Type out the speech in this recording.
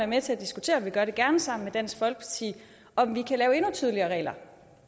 med til at diskutere og vi gør det gerne sammen med dansk folkeparti om vi kan lave endnu tydeligere regler